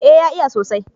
eh ya iya sosai